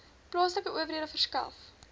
plaaslike owerhede verskaf